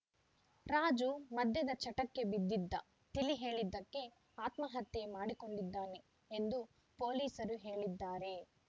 ರಾಜು ಮದ್ಯದ ಚಟಕ್ಕೆ ಬಿದ್ದಿದ್ದ ತಿಳಿ ಹೇಳಿದ್ದಕ್ಕೆ ಆತ್ಮಹತ್ಯೆ ಮಾಡಿಕೊಂಡಿದ್ದಾನೆ ಎಂದು ಪೊಲೀಸರು ಹೇಳಿದ್ದಾರೆ